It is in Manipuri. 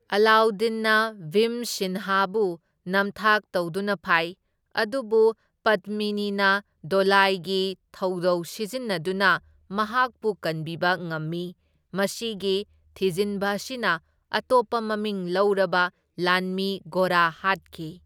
ꯑꯂꯥꯎꯗꯤꯟꯅ ꯚꯤꯝꯁꯤꯟꯍꯥꯕꯨ ꯅꯝꯊꯥꯛ ꯇꯧꯗꯨꯅ ꯐꯥꯏ, ꯑꯗꯨꯕꯨ ꯄꯗꯃꯤꯅꯤꯅ ꯗꯣꯂꯥꯏꯒꯤ ꯊꯧꯗꯧ ꯁꯤꯖꯤꯟꯅꯗꯨꯅ ꯃꯍꯥꯛꯄꯨ ꯀꯟꯕꯤꯕ ꯉꯝꯏ, ꯃꯁꯤꯒꯤ ꯊꯤꯖꯤꯟꯕ ꯑꯁꯤꯗ ꯑꯇꯣꯞꯄ ꯃꯃꯤꯡ ꯂꯧꯔꯕ ꯂꯥꯟꯃꯤ ꯒꯣꯔꯥ ꯍꯥꯠꯈꯤ꯫